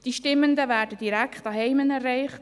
die Stimmenden werden direkt zu Hause erreicht;